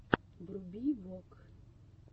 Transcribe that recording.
вруби вок